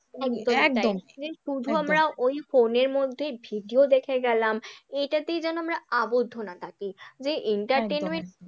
একদম একদম শুধু আমরা ওই ফোনের মধ্যে ভিডিও দেখে গেলাম, এইটাতেই যেন আমরা আবদ্ধ না থাকি যে entertainment